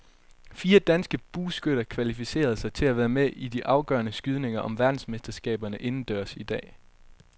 Fire danske bueskytter kvalificerede sig til at være med i de afgørende skydninger om verdensmesterskaberne indendørs i dag.